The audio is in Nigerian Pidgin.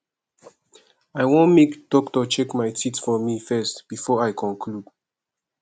i wan make doctor check my teeth for me first before i conclude